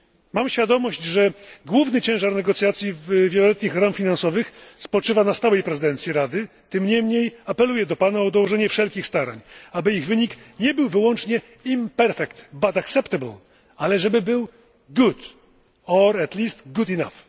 Mam świadomość, że główny ciężar negocjacji wieloletnich ram finansowych spoczywa na stałej prezydencji Rady, tym niemniej apeluję do Pana o dołożenie wszelkich starań, aby ich wynik nie był wyłącznie imperfect, but acceptable ale żeby był good or at least good enough